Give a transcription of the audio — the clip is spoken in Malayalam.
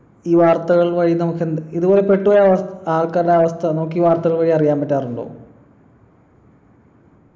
ഈ വാർത്തകൾ വഴി നമുക്കെന്ത് ഇതുപോലെ പെട്ട് പോയ അവസ് ആൾക്കാരുടെ അവസ്ഥ നമുക്കി വർത്തകൾ വഴി അറിയാൻ പറ്റാറുണ്ടോ